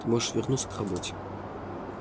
ты можешь вернуться к работе